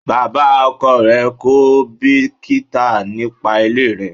Bàbá ọkọ rẹ̀ kò bìkítà nípa ilé rẹ.